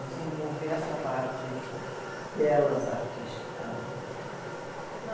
Desenvolver essa parte delas artística, né?